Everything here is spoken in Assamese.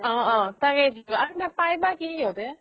অহ অহ তাৰেই video আৰু পায় বা কি সিহতে